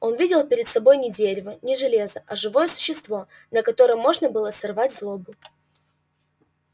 он видел перед собой не дерево не железо а живое существо на котором можно было сорвать злобу